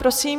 Prosím.